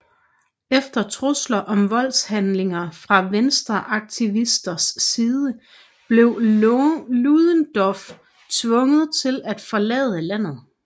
Efter trusler om voldshandlinger fra venstreaktivisters side blev Ludendorff tvunget til at forlade landet